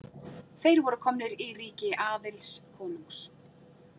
Þeir voru komnir í ríki Aðils konungs.